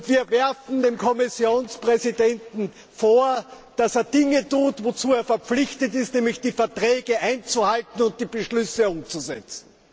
Wir werfen dem Kommissionspräsidenten vor, dass er Dinge tut, wozu er verpflichtet ist, nämlich die Verträge einzuhalten und die Beschlüsse umzusetzen.